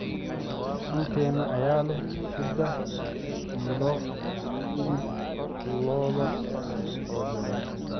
dukaankee ayaa leh saddex kiilo oo hilib lo'aad ah oo jaban